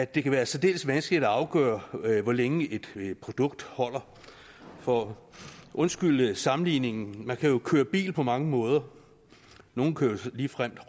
det kan være særdeles vanskeligt at afgøre hvor længe et produkt holder for undskyld sammenligningen man kan jo køre bil på mange måder nogle kører ligefrem